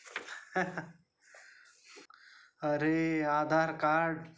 Laughter अरे Aadhaar card.